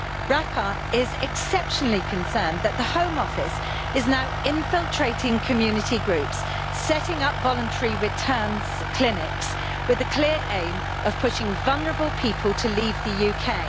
RAPAR is exceptionally concerned that the Home Office is now infiltrating community groups and setting up voluntary returns clinics with the clear aim of pushing vulnerable people to leave the UK.